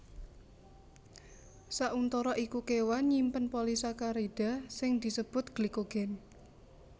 Sauntara iku kéwan nyimpen polisakarida sing disebut glikogen